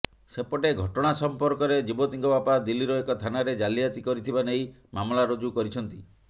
ସେପଟେ ଘଟଣା ସମ୍ପର୍କରେ ଯୁବତୀଙ୍କ ବାପା ଦିଲ୍ଲୀର ଏକ ଥାନାରେ ଜାଲିଆତି କରିଥିବା ନେଇ ମାମଲା ରୁଜୁ କରିଛନ୍ତି